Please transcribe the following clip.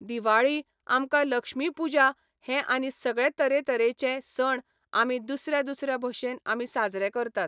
दिवाळी, आमकां लक्ष्मी पुजा हे आनी सगळे तरेतरेचे सण आमी दुसऱ्या दुसऱ्या भशेन आमी साजरे करतात.